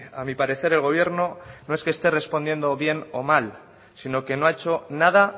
a mi parecer el gobierno no es que esté respondiendo bien o mal sino que no ha hecho nada